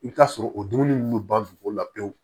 I bɛ t'a sɔrɔ o dumuni ninnu bɛ ban dugu la pewu